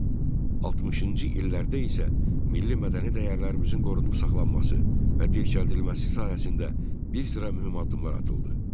60-cı illərdə isə milli mədəni dəyərlərimizin qorunub saxlanması və dirçəldilməsi sayəsində bir sıra mühüm addımlar atıldı.